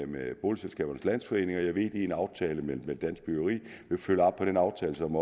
med boligselskabernes landsforening jeg ved at de i en aftale med dansk byggeri vil følge op på den aftale som